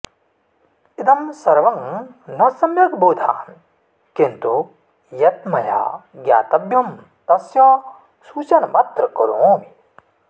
इदं सर्वं न सम्यग् बोधामि किन्तु यत् मया ज्ञातव्यं तस्य सूचनमत्र करोमि